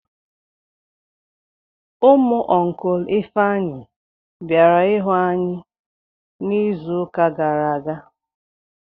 Ụmụ ọncụl Ifeanyị bịara ịhụ anyị n'izuụka gara aga.